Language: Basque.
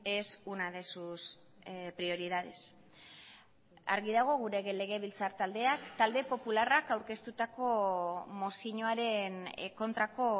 es una de sus prioridades argi dago gure legebiltzar taldeak talde popularrak aurkeztutako mozioaren kontrako